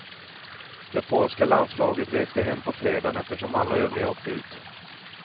Det polska landslaget reste hem på fredagen eftersom alla övriga åkt ut.